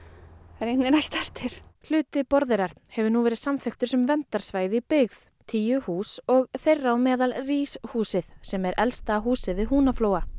eiginlega ekkert eftir hluti Borðeyrar hefur nú verið samþykktur sem verndarsvæði í byggð tíu hús og þeirra á meðal húsið sem er elsta húsið við Húnaflóa